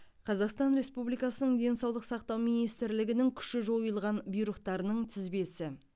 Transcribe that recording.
қазақстан республикасының денсаулық сақтау министрлігінің күші жойылған бұйрықтарының тізбесі